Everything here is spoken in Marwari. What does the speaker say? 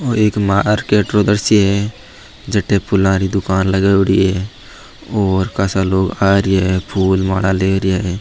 और एक मार्केट उधर से है जटे फुला की दुकान लगावडी है और खासा लोग आ रही है फूल माला ले रिया है।